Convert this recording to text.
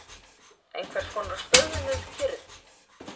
Einhverskonar stöðnuð kyrrð.